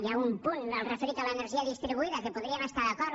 hi ha un punt el referit a l’energia distribuïda que podríem estar hi d’acord